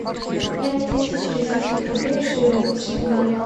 пять тысяч российских рублей в шилингах